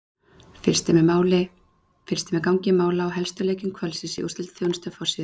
Fylgst er með gangi mála í helstu leikjum kvöldsins í úrslitaþjónustu á forsíðu